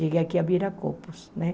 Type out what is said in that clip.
Cheguei aqui a Viracopos, né?